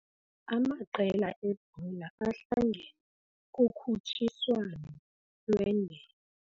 Amaqela ebhola ahlangene kukhutshiswano lwendebe.